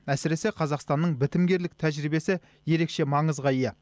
әсіресе қазақстанның бітімгерлік тәжірибесі ерекше маңызға ие